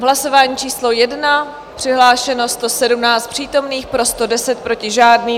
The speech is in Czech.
V hlasování číslo 1 přihlášeno 117 přítomných, pro 110, proti žádný.